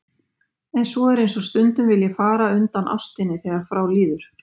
En svo er eins og stundum vilji fjara undan ástinni þegar frá líður.